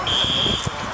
Təcili təcili.